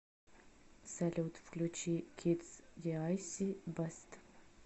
салют включи кидс диайси бест